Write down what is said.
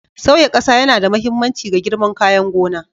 Sauya ƙasa yana da mahimmanci ga girman kayan gona.